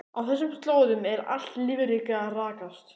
Á þessum slóðum er allt lífríki að raskast.